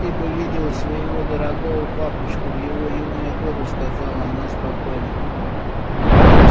ты бы видела своего дорогого папочку в его юные годы сказала она спокойно